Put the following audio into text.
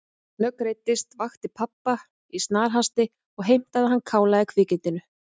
Hún snöggreiddist, vakti pabba í snarhasti og heimtaði að hann kálaði kvikindinu.